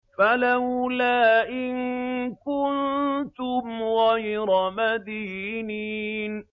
فَلَوْلَا إِن كُنتُمْ غَيْرَ مَدِينِينَ